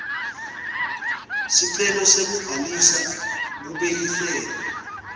sicelo sekubhalisa kubuyiselwa